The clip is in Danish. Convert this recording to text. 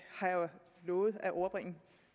lovet at overbringe